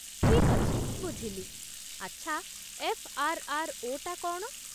ଠିକ୍ ଅଛି, ବୁଝିଲି । ଆଚ୍ଛା, ଏଫ୍.ଆର୍.ଆର୍.ଓ. ଟା କ'ଣ?